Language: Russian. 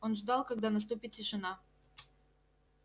он ждал когда наступит тишина